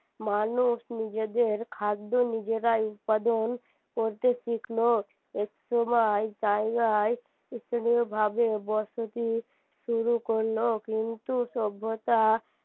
মানুষ নিজেদের খাদ্য নিজেরাই উৎপাদন করতে শিখলো একসময় জায়গায় স্থানীয় ভাবে বসতি শুরু করলো কিন্তু সভ্যতা